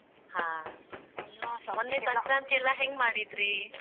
ಹಾ. ಮೊನ್ನೆ ಸಂಕ್ರಾಂತಿ ಎಲ್ಲಾ ಹೆಂಗ್ ಮಾಡಿದ್ರಿ?